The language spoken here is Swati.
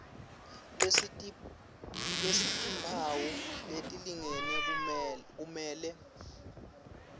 lesitimphawu letilingene kumele